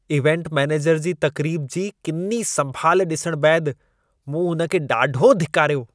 Event manager जी तक़रीब जी किनी संभालु डि॒सणु बैदि, मूं हुन खे ॾाढो धिकारियो।